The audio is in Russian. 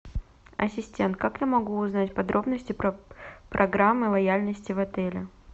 ассистент как я могу узнать подробности про программы лояльности в отеле